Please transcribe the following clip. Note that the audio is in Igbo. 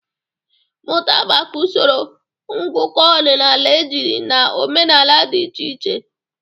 Mụta maka usoro ngụkọ ọdịnala ejiri na omenala dị iche iche.